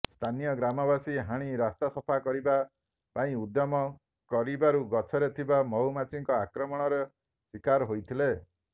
ସ୍ଥାନୀୟ ଗ୍ରାମବାସୀ ହାଣି ରାସ୍ତା ସଫା କରିବା ପାଇଁଉଦ୍ୟମ କରିବାରୁ ଗଛରେ ଥିବା ମହୁମାଛିଙ୍କ ଆକ୍ରମଣରେ ଶିକାର ହୋଇଥିଲେ